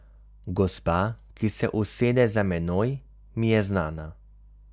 Gospa, ki se usede za menoj, mi je znana.